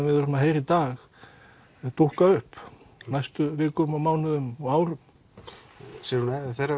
við erum að heyra í dag dúkka upp á næstu vikum mánuðum og árum Sigrún